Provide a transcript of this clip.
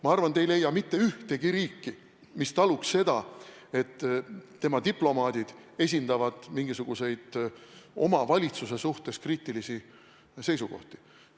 Ma arvan, te ei leia mitte ühtegi riiki, kes taluks seda, et tema diplomaadid esitavad mingisuguseid oma valitsuse suhtes kriitilisi seisukohti.